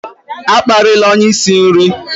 A kparịla onye isi nri!